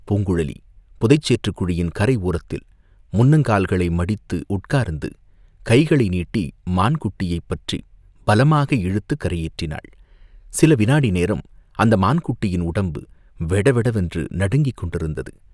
பூங்குழலி புதை சேற்றுக் குழியின் கரை ஓரத்தில் முன்னங்கால்களை மடித்து உட்கார்ந்து, கைகளை நீட்டி மான் குட்டியைப் பற்றிப் பலமாக இழுத்துக் கரையேற்றினாள்.சில விநாடி நேரம் அந்த மான்குட்டியின் உடம்பு வெடவெட வென்று நடுங்கிக் கொண்டிருந்தது.